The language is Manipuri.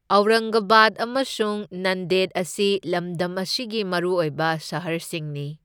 ꯑꯧꯔꯪꯒꯕꯥꯗ ꯑꯃꯁꯨꯡ ꯅꯟꯗꯦꯠ ꯑꯁꯤ ꯂꯝꯗꯝ ꯑꯁꯤꯒꯤ ꯃꯔꯨꯑꯣꯏꯕ ꯁꯍꯔꯁꯤꯡꯅꯤ꯫